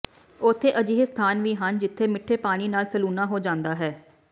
ਉੱਥੇ ਅਜਿਹੇ ਸਥਾਨ ਵੀ ਹਨ ਜਿੱਥੇ ਮਿੱਠੇ ਪਾਣੀ ਨਾਲ ਸਲੂਣਾ ਹੋ ਜਾਂਦਾ ਹੈ